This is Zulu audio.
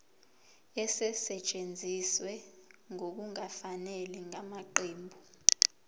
esetshenziswe ngokungafanele ngamaqembu